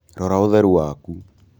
Rora ũtheru waku